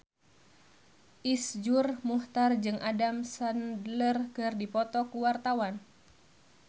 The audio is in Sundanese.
Iszur Muchtar jeung Adam Sandler keur dipoto ku wartawan